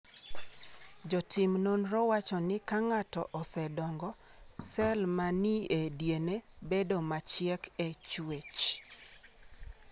Jotim nonrogo wacho ni ka ng’ato osedongo, sel ma ni e DNA bedo machiek e chwech.